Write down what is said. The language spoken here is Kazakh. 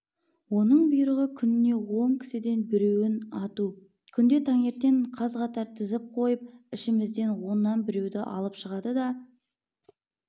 оның бұйрығы күніне он кісіден біреуін ату күнде таңертең қаз-қатар тізіп қойып ішімізден оннан біреуді алып шығады да